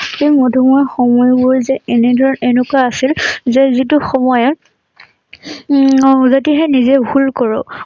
এই মধুময় সময়বোৰ যে এনেদৰে এনেকুৱা আছিল যে যিটো সময়ত উম যদিহে নিজেই ভুল কৰোঁ